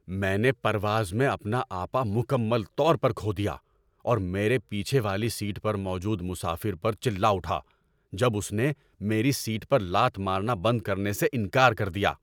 میں نے پرواز میں اپنا آپا مکمل طور پر کھو دیا اور میرے پیچھے والی سیٹ پر موجود مسافر پر چلا اٹھا جب اس نے میری سیٹ پر لات مارنا بند کرنے سے انکار کر دیا۔